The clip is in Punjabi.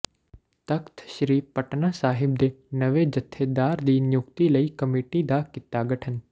ਤਖਤ ਸ੍ਰੀ ਪਟਨਾ ਸਾਹਿਬ ਦੇ ਨਵੇਂ ਜਥੇਦਾਰ ਦੀ ਨਿਯੁਕਤੀ ਲਈ ਕਮੇਟੀ ਦਾ ਕੀਤਾ ਗਠਨ